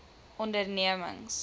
ondernemings